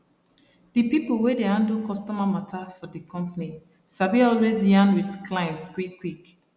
di people wey dey handle customer matter for di company sabi always yarn with clients quickquick